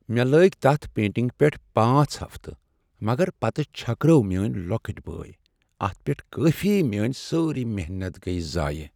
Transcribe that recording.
مےٚ لٲگۍ تتھ پینٹنگہ پیٹھ پانژھ ہفتہٕ مگر پتہٕ چھكرٲو میٲنۍ لۄكٕٹۍ بٲےہ اتھ پیٹھ کافی، میٲنۍ سٲرٕے محنت گیہِ ضایہ